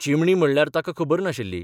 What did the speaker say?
चिमणी म्हणल्यार ताका खबर नाशिल्ली.